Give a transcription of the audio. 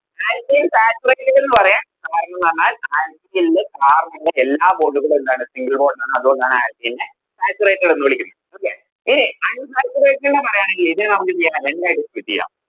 Alkane saturated എന്ന് പറയാം കരണംന്ന് പറഞ്ഞാൽ Alkane ല് Carbon ൻറെ എല്ലാ Bond കളും എന്താണ് Single bond ആണ് അതുകൊണ്ടാണ് Alkane നെ Saturated എന്ന് വിളിക്കുന്നത് Okay ഇനി Unsaturated ന പറയാണെങ്കിൽ ഇതിനെ നമുക്കെന്തെയ്യം രണ്ടായിട്ട് Split ചെയ്യാം